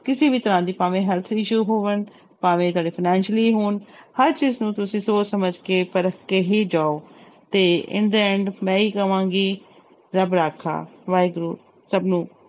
ਕਿਸੇ ਵੀ ਤਰ੍ਹਾਂ ਦੀ ਭਾਵੇਂ health issue ਹੋਵਣ, ਭਾਵੇਂ ਤੁਹਾਡੇ financially ਹੋਣ ਹਰ ਚੀਜ਼ ਨੂੰ ਤੁਸੀਂ ਸੋਚ ਸਮਝ ਕੇ ਪਰਖ ਕੇ ਹੀ ਜਾਓ ਤੇ in the end ਮੈਂ ਇਹੀ ਕਵਾਂਗੀ ਰੱਬ ਰਾਖਾ, ਵਾਹਿਗੁਰੂ ਸਭ ਨੂੰ